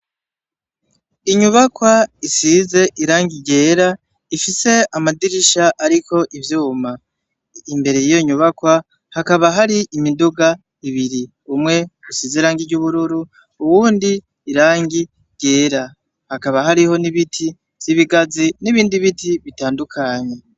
Inyubakwa isize irangi ryera, ifise amadirisha ariko ivyuma. Imbere y'iyo nyubakwa hakaba hari imiduga ibiri, umwe usize ibara ry'ubururu, uwundi irangi ryera. Hakaba hariho n'ibiti vy'ibigazi n'ibindi biti bitandukanye.